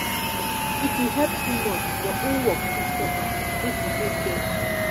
if you help too much your own work fit suffer. make you dey careful.